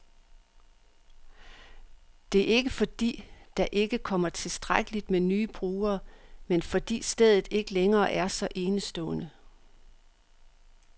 Det er ikke, fordi der ikke kommer tilstrækkeligt med nye brugere, men fordi stedet ikke længere er så enestående.